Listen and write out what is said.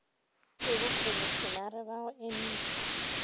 ke bokhomišenare ba go eniša